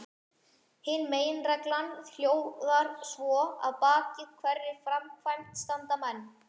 Hin meginreglan hljóðar svo: Að baki hverri framkvæmd standa menn.